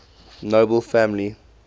nobel family